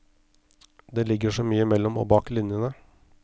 Det ligger så mye mellom og bak linjene.